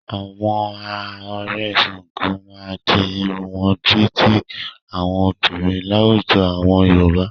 Àwọn a Ọ̀rẹ̀ Ṣàngó máa ń di irun wọn bí i ti àwọn obìnrin láwùjọ àwọn Yorùbá.